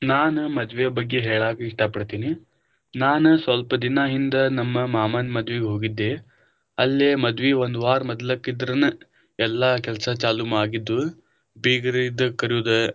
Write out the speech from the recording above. ನಾನ ಮದ್ವೆಯ ಬಗ್ಗೆ ಹೇಳಾಕ ಇಷ್ಟ ಪಡತೀನಿ, ನಾನ ಸ್ವಲ್ಪ ದಿನಾ ಹಿಂದ ನಮ್ಮ ಮಾಮಾನ ಮದ್ವಿಗ ಹೋಗಿದ್ದೆ, ಅಲ್ಲೆ ಮದ್ವಿ ಒಂದ ವಾರ ಮೊದ್ಲೆಕ ಇದ್ರನ ಎಲ್ಲಾ ಕೆಲಸ ಚಾಲು ಆಗಿದ್ವಾ, ಬಿಗರದ ಕರಿಯುವುದು.